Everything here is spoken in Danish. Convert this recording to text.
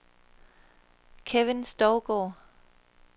Kevin Stougaard